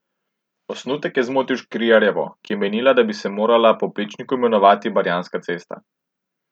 Osnutek je zmotil Škrinjarjevo, ki je menila, da bi se morala po Plečniku imenovati Barjanska cesta.